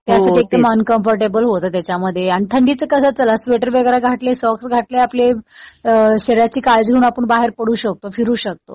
ते असं अनकंफर्टेबल होत त्याच्यामध्ये. आणि थंडीचं कसं चला स्वेटर घातलं, सॉक्स घातले आपले. शरीराची काळजी घेऊन आपण बाहेर पडू शकतो. फिरू शकतो.